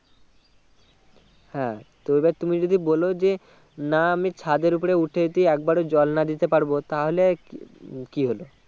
হ্যাঁ তো এবার তুমি যদি বলো যে না আমি ছাদের ওপরে ওঠে যদি একবার ও জল না দিতে পারবো তাহলে কি কি হলো